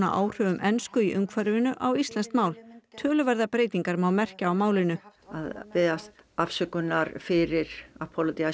áhrifum ensku í umhverfinu á íslenskt mál töluverðar breytingar má merkja á málinu að biðjast afsökunar fyrir